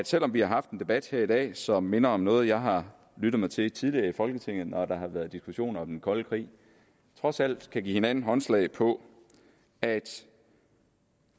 selv om vi har haft en debat her i dag som minder om noget jeg har lyttet mig til tidligere i folketinget når der har været diskussioner om den kolde krig trods alt kan give hinanden håndslag på at